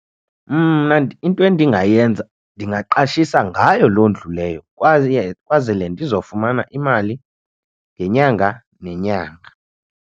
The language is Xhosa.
Mna into endingayenza ndingaqashisa ngayo loo ndlu leyo kwaye kwazele ndizofumana imali ngenyanga nenyanga.